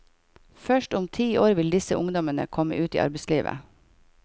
Først om ti år vil disse ungdommene komme ut i arbeidslivet.